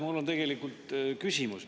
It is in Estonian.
Mul on tegelikult küsimus.